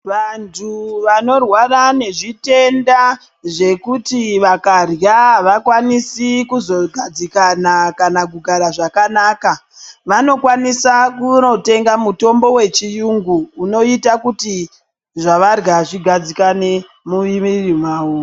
Vantu vanorwara nezvitenda zvekuti vakarya havakwanisi kuzogadzikana kana kugara zvakanaka vanokwanisa kunotenga mutombo wechiyungu unoita kuti zvavarya zvigadzikane mumwiri mwavo.